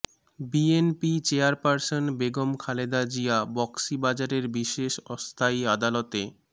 BNP chairperson Begum Khaleda Zia বকশিবাজারের বিশেষ অস্থায়ী আদালতে